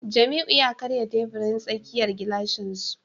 Jamiu ya karya teburin tsakiyar gilashin su